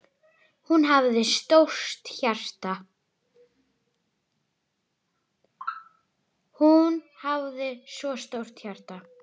Hún hafði svo stórt hjarta.